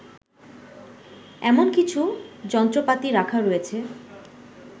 এমন কিছু যন্ত্রপাতি রাখা হয়েছে